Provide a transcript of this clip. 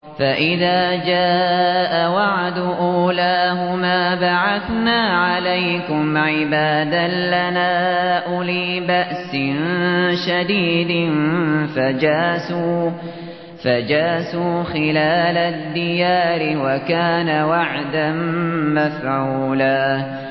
فَإِذَا جَاءَ وَعْدُ أُولَاهُمَا بَعَثْنَا عَلَيْكُمْ عِبَادًا لَّنَا أُولِي بَأْسٍ شَدِيدٍ فَجَاسُوا خِلَالَ الدِّيَارِ ۚ وَكَانَ وَعْدًا مَّفْعُولًا